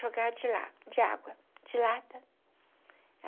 Jogava de lá, de água, de lata.